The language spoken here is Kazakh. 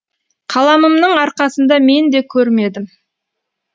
қаламымның арқасында мен не көрмедім